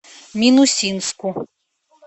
минусинску